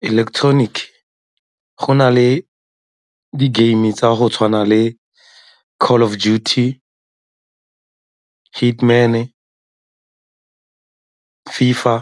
Electronic-ke, go na le di-game tsa go tshwana le Call of Duty, Hitman-e, FIFA,